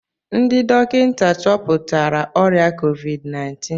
Ndị dọkịta chọpụtara ọrịa COVID-19